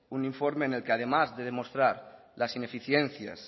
un informe en el que además de demostrar las ineficiencias